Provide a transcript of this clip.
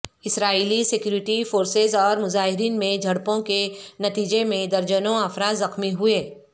اسرائیلی security forces اور مظاہرین میں جھڑپوں کے نتیجے میں درجنوں افراد زخمی ہوئے